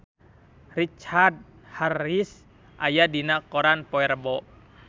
Richard Harris aya dina koran poe Rebo